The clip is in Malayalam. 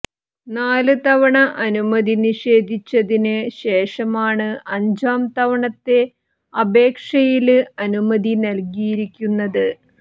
നാല് തവണ അനുമതി നിഷേധിച്ചതിന് ശേഷമാണ് അഞ്ചാം തവണത്തെ അപേക്ഷയില് അനുമതി നല്കിയിരിക്കുന്നത്